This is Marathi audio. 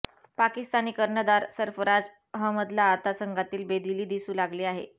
पाकिस्तानी कर्णधार सर्फराज अहमदला आता संघातील बेदिली दिसू लागली आहे